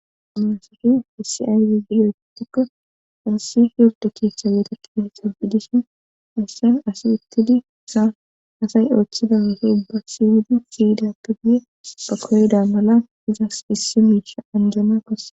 amalasofi hissiayridiyootikko ansi hordo keethcha weetakkida he sabidishin issan as ittidi saa asay ooththida weso ubba siywidi siyida gagiye pa koyda mala izas issi miicha anjana kosse